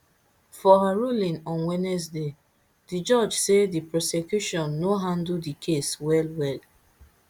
for her ruling on wednesday di judge say di prosecution no handle di case wellwell